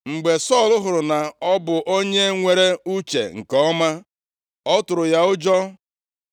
Mgbe Sọl hụrụ na ọ bụ onye nwere uche nke ọma, ọ tụrụ ya ụjọ.